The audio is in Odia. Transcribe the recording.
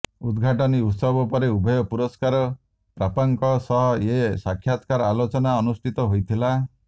ଉଦ୍ଘାଟନୀ ଉତ୍ସବ ପରେ ଉଭୟ ପୁରସ୍କାର ପ୍ରାପକଙ୍କ ସହ ଏ ସାକ୍ଷାତକାର ଆଲୋଚନା ଅନୁଷ୍ଠିତ ହୋଇଥିଲା